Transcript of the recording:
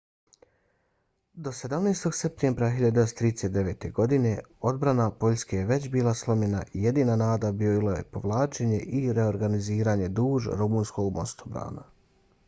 do 17. septembra 1939. godine odbrana poljske je već bila slomljena i jedina nada bilo je povlačenje i reorganiziranje duž rumunskog mostobrana